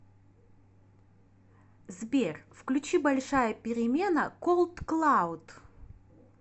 сбер включи большая перемена колдклауд